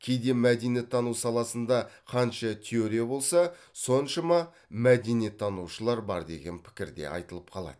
кейде мәдениеттану саласында қанша теория болса соншама мәдениеттанушылар бар деген пікір де айтылып қалады